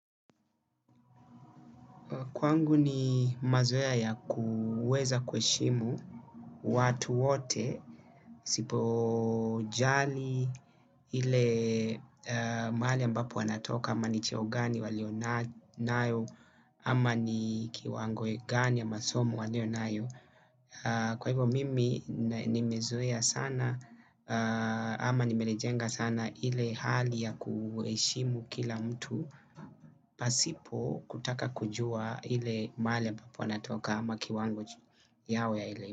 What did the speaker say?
Kwangu ni mazoea ya kuweza kuheshimu watu wote, isipo jali ile mahali ambapo wanatoka, ama ni cheo gani walionayo, ama ni kiwango gani ya masomo walionayo. Kwa hivyo mimi nimezoea sana ama nimelijenga sana ile hali ya kuheshimu kila mtu. Pasipo kutaka kujua ile mahali ambapo anatoka ama kiwango yao ya elimu.